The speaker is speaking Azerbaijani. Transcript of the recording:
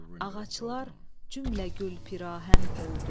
Ağaclar cümlə gül pirahən oldu.